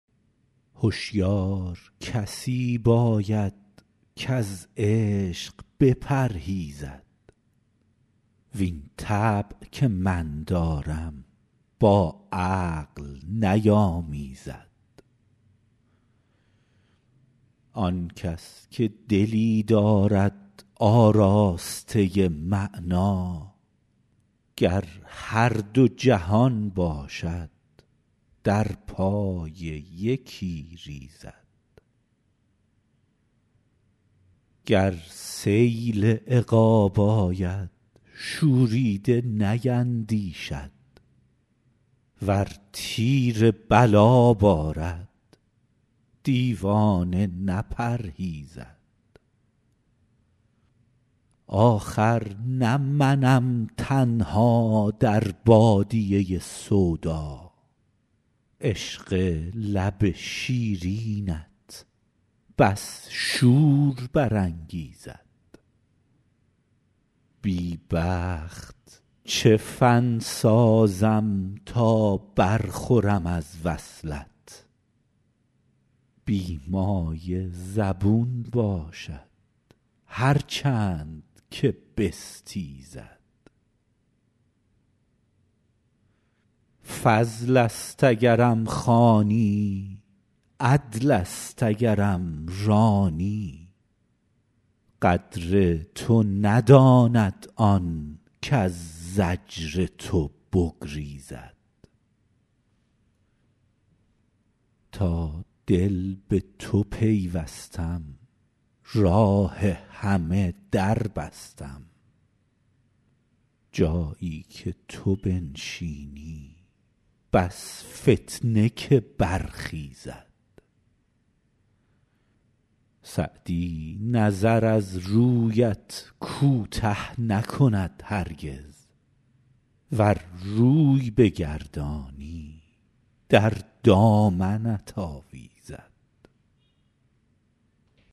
هشیار کسی باید کز عشق بپرهیزد وین طبع که من دارم با عقل نیامیزد آن کس که دلی دارد آراسته معنی گر هر دو جهان باشد در پای یکی ریزد گر سیل عقاب آید شوریده نیندیشد ور تیر بلا بارد دیوانه نپرهیزد آخر نه منم تنها در بادیه سودا عشق لب شیرینت بس شور برانگیزد بی بخت چه فن سازم تا برخورم از وصلت بی مایه زبون باشد هر چند که بستیزد فضل است اگرم خوانی عدل است اگرم رانی قدر تو نداند آن کز زجر تو بگریزد تا دل به تو پیوستم راه همه در بستم جایی که تو بنشینی بس فتنه که برخیزد سعدی نظر از رویت کوته نکند هرگز ور روی بگردانی در دامنت آویزد